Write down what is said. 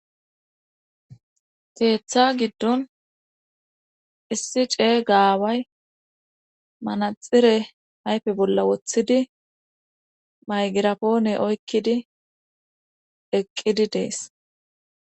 Keeththa giddon issi ce gaaway manaxire hayfe bolla woththidi maygirapoone oykkidi eqqidi dees